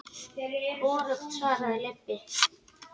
Hvorugt svaraði Leibbi.